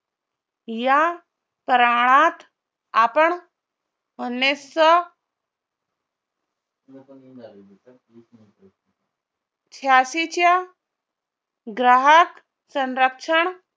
या आपण उन्नीससौ छ्यानशी च्या ग्राहक संरक्षण